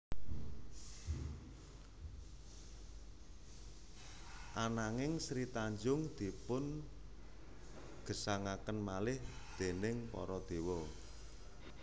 Ananging Sri Tanjung dipun gesangaken malih déning para dewa